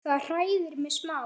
Það hræðir mig smá.